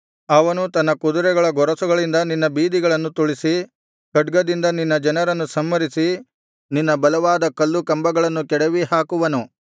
ಅವನು ತನ್ನ ಕುದುರೆಗಳ ಗೊರಸುಗಳಿಂದ ನಿನ್ನ ಬೀದಿಗಳನ್ನು ತುಳಿಸಿ ಖಡ್ಗದಿಂದ ನಿನ್ನ ಜನರನ್ನು ಸಂಹರಿಸಿ ನಿನ್ನ ಬಲವಾದ ಕಲ್ಲು ಕಂಬಗಳನ್ನು ಕೆಡವಿ ಹಾಕುವನು